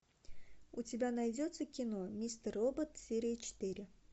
у тебя найдется кино мистер робот серия четыре